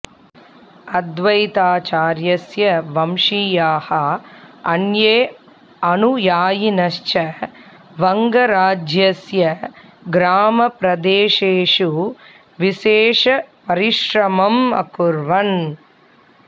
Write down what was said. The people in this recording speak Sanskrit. अद्वैताचार्यस्य वंशीयाः अन्ये अनुयायिनश्च वङ्गराज्यस्य ग्रामप्रदेशेषु विशेषपरिश्रमम् अकुर्वन्